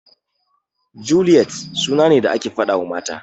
Juliyet suna ne da ake faɗawa mata.